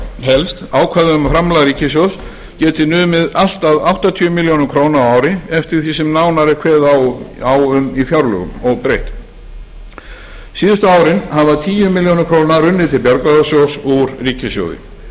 felst ákvæði um að framlag ríkissjóðs geti numið allt að áttatíu milljónir króna á ári eftir því sem nánar er kveðið á um í fjárlögum óbreytt síðustu árin hafa tíu milljónir króna runnið til bjargráðasjóðs úr ríkissjóði